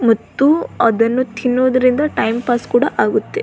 ಮತ್ತು ಅದನ್ನು ತಿನ್ನುವುದರಿಂದ ಟೈಮ್ ಪಾಸ್ ಕೂಡ ಆಗುತ್ತೆ.